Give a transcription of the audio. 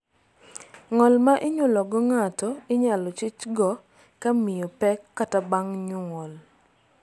ng'ol ma inyuolo go ng'ato inyalo chich go ka miyo pek kata bang' nyuol